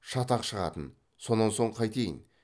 шатақ шығатын сонан соң қайтейін